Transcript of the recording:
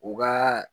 U ka